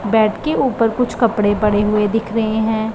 Bed के ऊपर कुछ कपड़े पड़े हुए दिख रहे हैं।